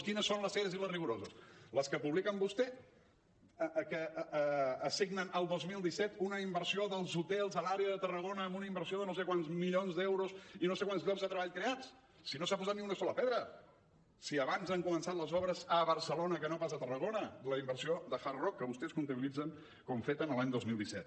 quines són les serioses i les rigoroses les que publica vostè que assignen al dos mil disset una inversió en els hotels a l’àrea de tarragona amb una inversió de no sé quants milions d’euros i no sé quants llocs de treball creats si no s’ha posat ni una sola pedra si abans han començat les obres a barcelona que no pas a tarragona de la inversió de hard rock que vostès comptabilitzen com feta en l’any dos mil disset